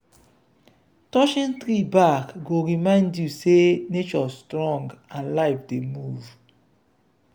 touching tree bark go remind you say nature strong and life dey move.